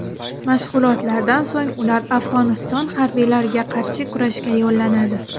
Mashg‘ulotlardan so‘ng ular Afg‘oniston harbiylariga qarshi kurashga yo‘llanadi.